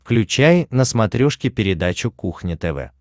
включай на смотрешке передачу кухня тв